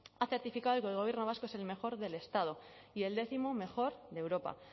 ha certificado que el gobierno vasco es el mejor del estado y el décimo mejor de europa